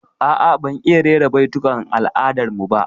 A'a, ban iya rera baitukan al'adar mu ba